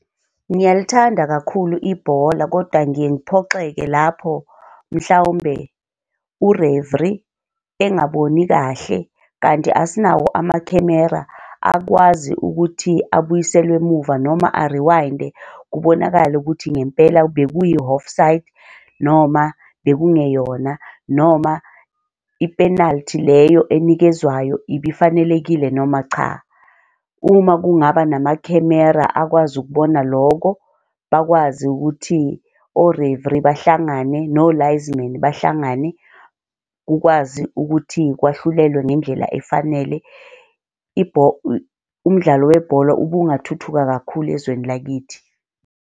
Ngiyalithanda kakhulu ibhola kodwa ngiye ngiphoxeke lapho mhlawumbe ureviri engaboni kahle kanti asinawo amakhemera akwazi ukuthi abuyiselwe emuva noma ariwayinde kubonakale ukuthi ngempela bekuyi-offside, noma bekungeyona noma i-penalty leyo enikezwayo ibifanelekile noma cha. Uma kungaba namakhemera akwazi ukubona loko, bakwazi ukuthi orevri bahlangane nolayizi men bahlangane kukwazi ukuthi kwahlulelwe ngendlela efanele umdlalo webhola ubungathuthuka kakhulu ezweni lakithi.